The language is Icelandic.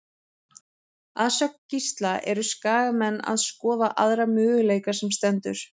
Að sögn Gísla eru Skagamenn að skoða aðra möguleika sem stendur.